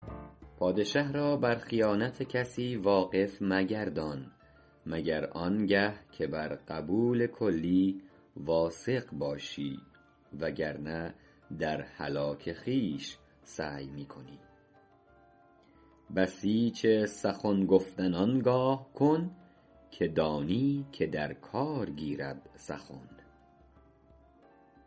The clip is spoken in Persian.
پادشه را بر خیانت کسی واقف مگردان مگر آنگه که بر قبول کلی واثق باشی و گر نه در هلاک خویش سعی می کنی بسیج سخن گفتن آنگاه کن که دانی که در کار گیرد سخن